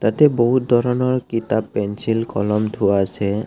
ইয়াতে বহুত ধৰণৰ কিতাপ পেঞ্চিল কলম থোৱা আছে।